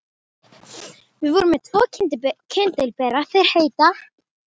Við vorum með tvo kyndilbera, þeir heita